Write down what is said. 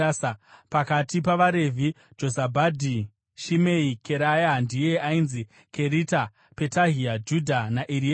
Pakati pavaRevhi: Jozabhadhi, Shimei, Keraya (ndiye ainzi Kerita), Petahia, Judha naEriezeri.